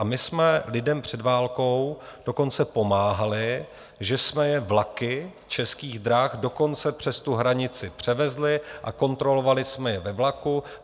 A my jsme lidem před válkou dokonce pomáhali, že jsme je vlaky Českých drah dokonce přes tu hranici převezli a kontrolovali jsme je ve vlaku.